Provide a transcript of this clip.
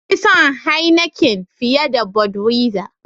Na fi son "Heineken " fiye da " budwiser "